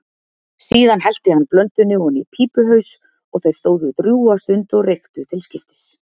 Síðan hellti hann blöndunni oní pípuhaus og þeir stóðu drjúga stund og reyktu til skiptis.